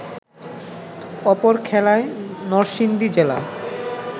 অপর খেলায় নরসিংদী জেলা